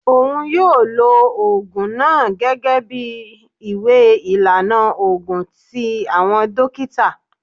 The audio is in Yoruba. Oun yoo lo oogun naa gẹgẹbi iwe ilana oogun ti awọn dokita.